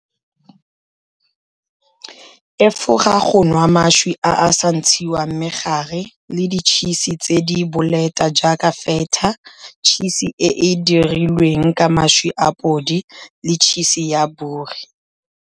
Efoga go nwa mašwi a a sa ntshiwang megare le ditšhise tse di bolete jaaka feta, tšhisi e e dirilweng ka mašwi a podi le tšhisi ya bori.